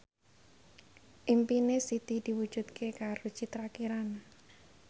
impine Siti diwujudke karo Citra Kirana